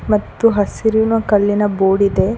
ಮತ್ತು ಹಸಿರಿನ ಕಲ್ಲಿನ ಬೋರ್ಡ್ ಇದೆ.